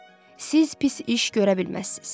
Siz pis iş görə bilməzsiz.